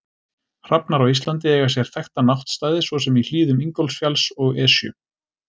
Hrafnar á Íslandi eiga sér þekkta náttstaði svo sem í hlíðum Ingólfsfjalls og Esju.